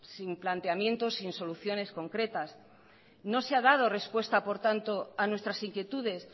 sin planteamientos sin soluciones concretas no se ha dado respuesta por tanto a nuestras inquietudes